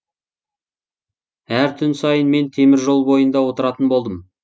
әр түн сайын мен теміржол бойында отыратын болдым